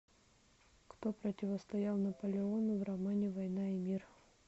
кто противостоял наполеону в романе война и мир